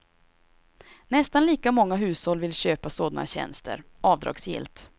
Nästan lika många hushåll vill köpa sådana tjänster, avdragsgillt.